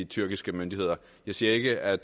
tyrkiske myndigheder jeg siger ikke at